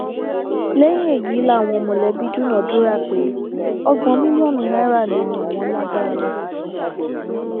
lẹyìn èyí làwọn mọlẹbí dúnàádúrà pé ọgbọn mílíọnù náírà ni àwọn lágbára láti san